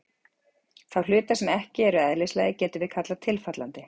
Þá hluta sem ekki eru eðlislægir getum við kallað tilfallandi.